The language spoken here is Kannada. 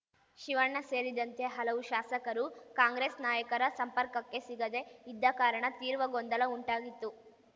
ಶಿವಣ್ಣ ಸೇರಿದಂತೆ ಹಲವು ಶಾಸಕರು ಕಾಂಗ್ರೆಸ್‌ ನಾಯಕರ ಸಂಪರ್ಕಕ್ಕೆ ಸಿಗದೆ ಇದ್ದ ಕಾರಣ ತೀವ್ರ ಗೊಂದಲ ಉಂಟಾಗಿತ್ತು